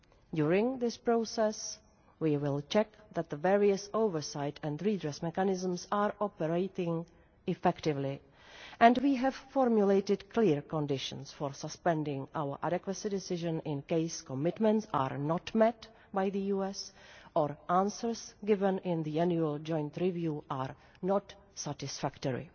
During this process, we will check that the various oversight and redress mechanisms are operating effectively, and we have formulated clear conditions for suspending our adequacy decision in case commitments are not met by the US or answers given in the annual joint review are not satisfactory.